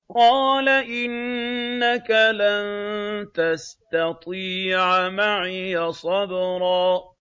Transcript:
قَالَ إِنَّكَ لَن تَسْتَطِيعَ مَعِيَ صَبْرًا